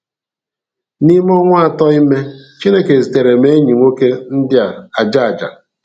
N’ime ọnwa atọ ime, Chineke zitere m enyi nwoke India aja aja.